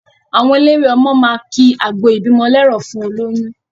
Àwọn elelwé ọmọ máa ki àgbọ ìbímọ lẹ́rọ̀ fún olóyún.